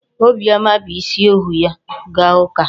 Obiọma bu isi ọhụụ ya gaa ụka.